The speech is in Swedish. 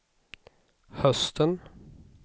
hösten